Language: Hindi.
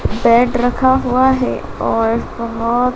बेड रखा हुआ है और बहोत।--